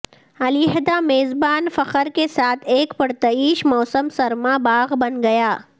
علیحدہ میزبان فخر کے ساتھ ایک پرتعیش موسم سرما باغ بن گیا